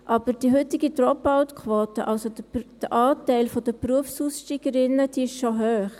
Aber die heutige Dropout-Quote, also der Anteil der Berufsaussteigerinnen, ist hoch.